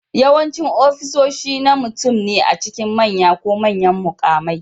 Yawancin ofisoshi na mutum ne a cikin manya ko manyan mukamai